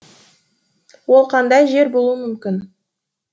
ол қандай жер болуы мүмкін